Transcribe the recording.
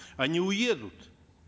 они уедут